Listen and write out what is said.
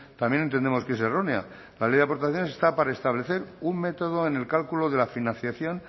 también entendemos que es errónea la ley de aportaciones está para establecer un método en el cálculo de la financiación